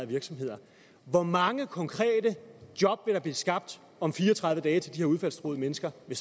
virksomheder hvor mange konkrete job vil der blive skabt om fire og tredive dage til de her udfaldstruede mennesker ved